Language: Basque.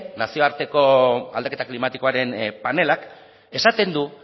nazioarteko aldaketa klimatikoaren panelak esaten du